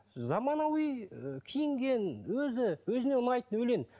заманауи і киінген өзі өзіне ұнайтын өлең